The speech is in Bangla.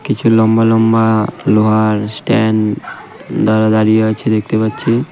কিছু লম্বা লম্বা লোহার স্ট্যান্ড তারা দাঁড়িয়ে আছে দেখতে পাচ্ছি .